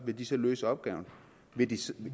vil de så løse opgaven